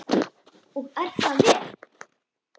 Og er það vel!